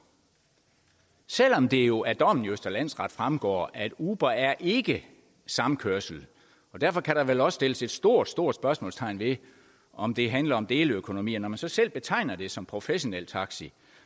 selv om det jo af dommen i østre landsret fremgår at uber ikke er samkørsel og derfor kan der vel også sættes et stort stort spørgsmålstegn ved om det handler om deleøkonomi når man så selv betegner det som professionel taxi